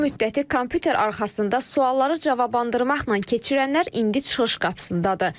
Bu müddəti kompüter arxasında sualları cavablandırmaqla keçirənlər indi çıxış qapısındadır.